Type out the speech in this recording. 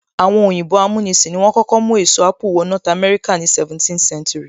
Àwọn òyìnbó amúnisìn ni wọ́n kọ́kọ́ mú èso apple wọ north America ní 17th century